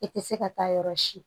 I tɛ se ka taa yɔrɔ si